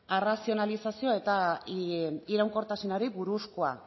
arrazionalizazioa eta iraunkortasunari buruzkoa